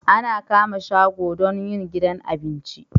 Ana kama shago don yin gidan abinci